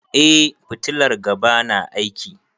Eh fitilar gaba na aiki.